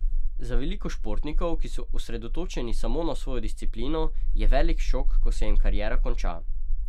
Za veliko športnikov, ki so osredotočeni samo na svojo disciplino, je velik šok, ko se jim kariera konča.